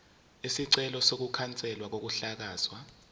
isicelo sokukhanselwa kokuhlakazwa